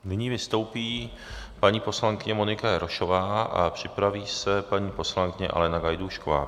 Nyní vystoupí paní poslankyně Monika Jarošová a připraví se paní poslankyně Alena Gajdůšková.